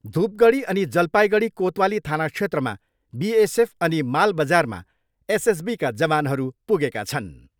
धुपगडी अनि जलपाइगडी कोतवाली थाना क्षेत्रमा बिएसएफ अनि माल बजारमा एसएसबीका जवानहरू पुगेका छन्।